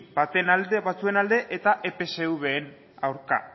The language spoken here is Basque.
batzuen alde eta epsven aurka